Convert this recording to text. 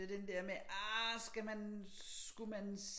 Så den der med at ah skal man skulle man